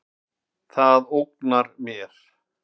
Það ógnar mér.